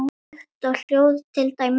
Lykt og hljóð til dæmis.